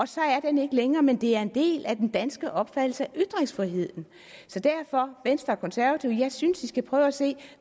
så er den ikke længere men det er en del af den danske opfattelse af ytringsfriheden så derfor venstre og konservative at jeg synes at de skal prøve at se